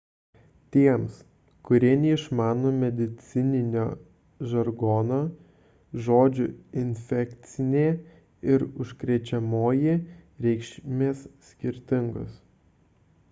tiems kurie neišmano medicininio žargono žodžių infekcinė ir užkrečiamoji reikšmės skirtingos